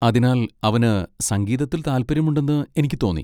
അതിനാൽ, അവന് സംഗീതത്തിൽ താൽപ്പര്യമുണ്ടെന്ന് എനിക്ക് തോന്നി.